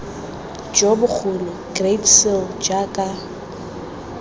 jo bogolo great seal jaaka